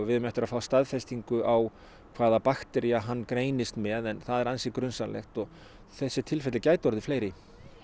við eigum eftir að fá staðfestingu á hvaða bakteríu hann greinist með en það er ansi grunsamlegt og þessi tilfelli gætu orðið fleiri